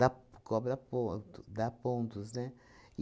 dá cobra ponto dá pontos, né?